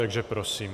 Takže prosím.